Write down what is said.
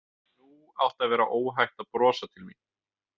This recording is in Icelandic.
Nú átti að vera óhætt að brosa til mín.